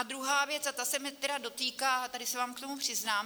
A druhá věc, a ta se mě tedy dotýká a tady se vám k tomu přiznám.